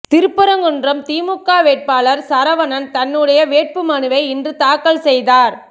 திருப்பரங்குன்றம் திமுக வேட்பாளர் சரவணன் தன்னுடைய வேட்புமனுவை இன்று தாக்கல் செய்தார்